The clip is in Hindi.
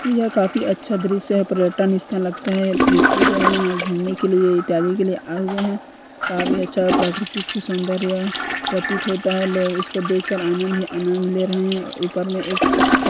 यह काफी अच्छा द्रश्य है पर्यटन स्थल लगता है व्यक्ति जो है यहाँ घुमने के लिए इत्यादि के लिए आए हुए है काफी अच्छा प्राकृतिक सौंदर्य प्रतीत होता है लोग उसको देखकर आनंद ही आनंद ले रहे है। ऊपर में एक --